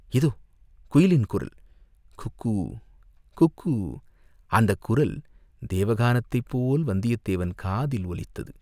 இதோ குயிலின் குரல், குக்கூ, குக்கூ அந்தக் குரல் தேவகானத்தைப் போல் வந்தியத்தேவன் காதில் ஒலித்தது.